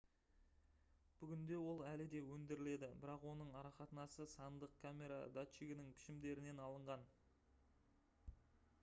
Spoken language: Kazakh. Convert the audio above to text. бүгінде ол әлі де өндіріледі бірақ оның арақатынасы сандық камера датчигінің пішімдерінен алынған